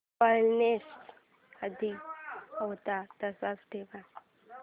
brightness आधी होता तसाच ठेव